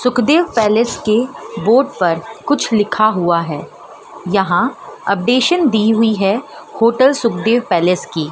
Sukhdev palace की board पर कुछ लिखा हुआ है यहां अपडेशन दी हुई है होटल सुखदेव पैलेस की--